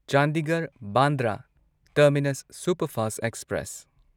Chandigarh Bandra terminus superfast express